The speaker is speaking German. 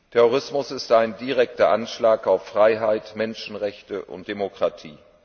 Terrorismus ist ein direkter Anschlag auf Freiheit, Menschenrechte und Demokratie.